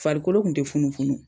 Farikolo tun te funufunu.